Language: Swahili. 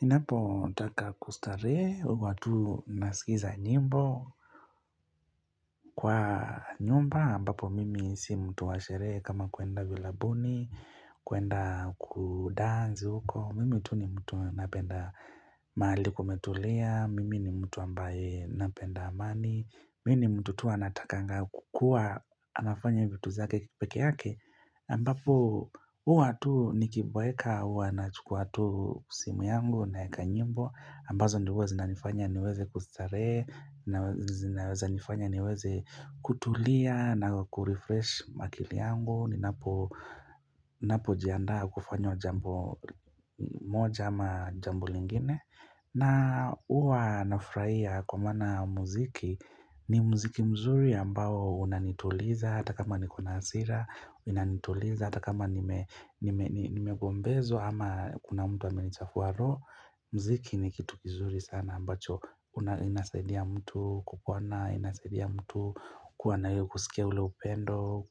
Ninapotaka kustarehe, huwa tu nasikiza nyimbo kwa nyumba ambapo mimi si mtu washerehe kama kuenda vilabuni, kuenda kudanzi huko. Mimi tu ni mtu napenda mahali kumetulia, mimi ni mtu ambaye napenda amani, mimi ni mtu tu anatakanga kukua anafanya vitu zake pekee yake. Ambapo huwa tu nikiboeka huwa nachukua tu simu yangu naweka nyimbo ambazo ndioo huwa zinanifanya niweze kustarehe na zinanifanya niweze kutulia na kurefresh akili yangu ninapojianda kufanya jambo moja ama jambo lingine na Huwa nafurahia kwa maana muziki ni muziki mzuri ambao unanituliza hata kama nikona hasira, inanituliza, hata kama nimegombezwa ama kuna mtu amelichafua roho, muziki ni kitu kizuri sana ambacho, inasaidia mtu kukwana, inasaidia mtu, kuwa na kusikia ule upendo,